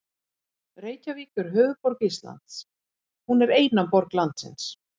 Reykjavík er höfuðborg Íslands. Hún er eina borg landsins.